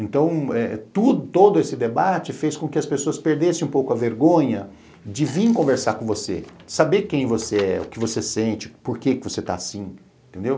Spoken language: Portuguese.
Então, todo esse debate fez com que as pessoas perdessem um pouco a vergonha de vir conversar com você, saber quem você é, o que você sente, por que é que você está assim, entendeu?